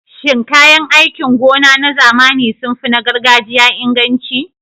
Shin kayan aikin gona na zamani sun fi na gargajiya inganci?